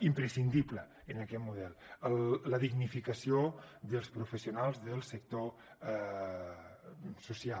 imprescindible en aquest model la dignificació dels professionals del sector social